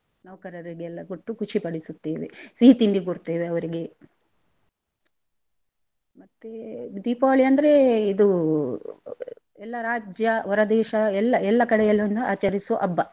ನೌಕರರಿಗೆಲ್ಲ ಕೊಟ್ಟು ಖುಷಿ ಪಡಿಸುತ್ತೇವೆ ಸಿಹಿ ತಿಂಡಿ ಕೊಡ್ತೇವೆ ಅವರಿಗೆ ಮತ್ತೇ ದೀಪಾವಳಿ ಅಂದ್ರೆ ಇದೂ ಎಲ್ಲ ರಾಜ್ಯ ಹೊರದೇಶ ಎಲ್ಲ ಎಲ್ಲಾ ಕಡೆಯಲೊಂದು ಆಚರಿಸುವ ಹಬ್ಬ.